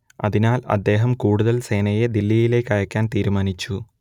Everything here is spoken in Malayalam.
അതിനാൽ അദ്ദേഹം കൂടുതൽ സേനയെ ദില്ലിയിലേക്കയക്കാൻതന്നെ തീരുമാനിച്ചു